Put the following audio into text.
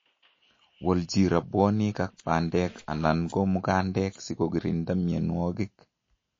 Wolji rabwonik ak bandek anan ko mukandek sikokirinda mienwokik